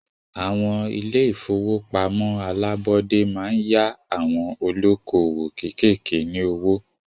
Àwọn ilé ìfọwọ́pamo alábọ́dé máa ń yá àwon olókoòwò kékèké ní owó.